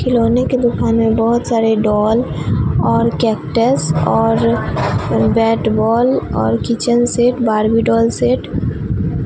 खिलौने के दुकान में बहोत सारे डॉल और कैक्टस और बैट बॉल और kitchen set Barbie doll set --